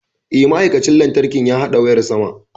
Eh, ma'aikacin lantarkin ya haɗa wayar sama.